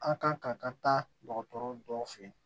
An kan ka ka taa dɔgɔtɔrɔ dɔw fɛ yen